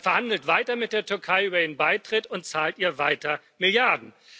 Man verhandelt weiter mit der Türkei über ihren Beitritt und zahlt ihr weiter Milliarden.